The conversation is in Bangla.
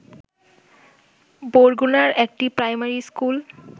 বরগুনার একটি প্রাইমারি স্কুল